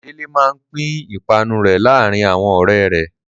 Délé máa pín ìpanu rẹ̀ láàárin àwọn ọ̀rẹ́ rẹ̀.